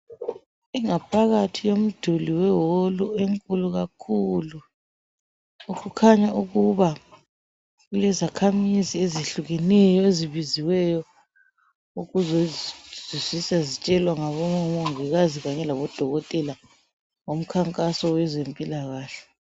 Ingaphakathi komduli weholu enkulu kakhulu kukhanya ukuba kulezakhamizi ezehlukeneyo ezibiziweyo ukuze zihle zitshelwe ngabomongikaze kanye labodokotela ngomkhankaso owezempilakahle.